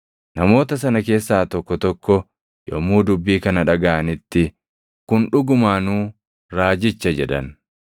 Namoota sana keessaa tokko tokko yommuu dubbii kana dhagaʼanitti, “Kun dhugumaanuu Raajicha” jedhan.